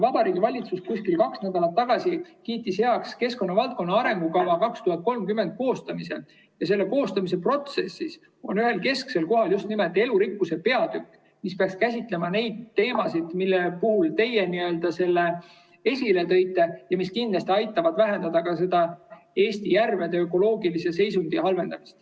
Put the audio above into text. Vabariigi Valitsus kuskil kaks nädalat tagasi kiitis heaks keskkonnavaldkonna arengukava 2030 koostamise ja selle koostamise protsessis on kesksel kohal just nimelt elurikkuse peatükk, mis peaks käsitlema neid teemasid, mida teie esile tõite ja mis kindlasti aitavad vähendada ka Eesti järvede ökoloogilise seisundi halvenemist.